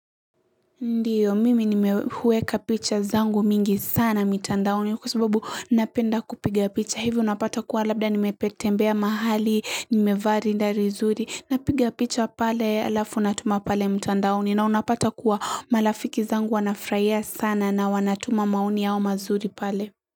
Ndiyo, mimi nimeweka picha zangu mingi sana mtandaoni kwa sababu napenda kupiga picha. Hivyo unapata kuwa labda nimepotembea mahali, nimevaa rinda vizuri. Napiga picha pale alafu unatuma pale mtandaoni na unapata kuwa marafiki zangu wanafurahia sana na wanatuma maoni yao mazuri pale.